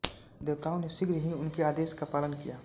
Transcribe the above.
देवताओं ने शीघ्र ही उनके आदेश का पालन किया